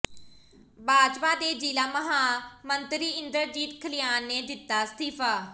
ਭਾਜਪਾ ਦੇ ਜ਼ਿਲ੍ਹਾ ਮਹਾਮੰਤਰੀ ਇੰਦਰਜੀਤ ਖਲਿਆਣ ਨੇ ਦਿੱਤਾ ਅਸਤੀਫਾ